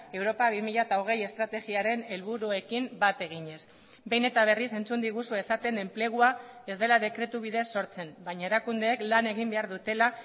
europa bi mila hogei estrategiaren helburuekin bat eginez behin eta berriz entzun diguzue esaten enplegua ez dela dekretu bidez sortzen baina erakundeek lan egin behar dutela